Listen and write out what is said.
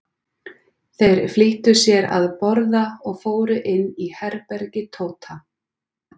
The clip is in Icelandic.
Þeir flýttu sér að borða og fóru inn í herbergi Tóta.